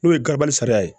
N'o ye garabali sariya ye